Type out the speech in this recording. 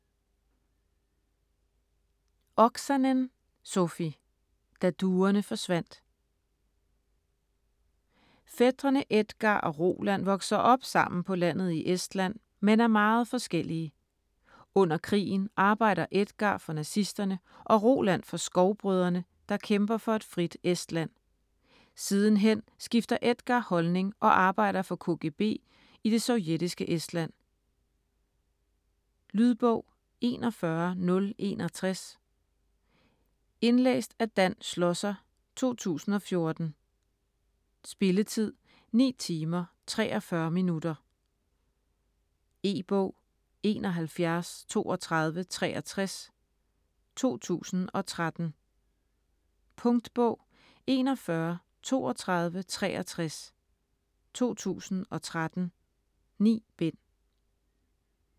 Oksanen, Sofi: Da duerne forsvandt Fætrene Edgar og Roland vokser op sammen på landet i Estland men er meget forskellige. Under krigen arbejder Edgar for nazisterne og Roland for Skovbrødrene, der kæmper for et frit Estland. Sidenhen skifter Edgar holdning og arbejder for KGB i det sovjetiske Estland. Lydbog 41061 Indlæst af Dan Schlosser, 2014. Spilletid: 9 timer, 43 minutter. E-bog 713263 2013. Punktbog 413263 2013. 9 bind.